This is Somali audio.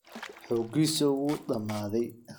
Xooggiisii ​​wuu dhammaaday.